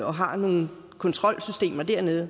og har nogle kontrolsystemer dernede